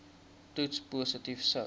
toets positief sou